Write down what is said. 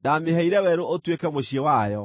Ndaamĩheire werũ ũtuĩke mũciĩ wayo,